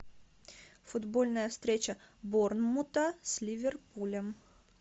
футбольная встреча борнмута с ливерпулем